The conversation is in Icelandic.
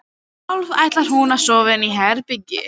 Sjálf ætlar hún að sofa í herbergi